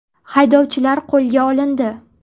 Haydovchilar qo‘lga olindi.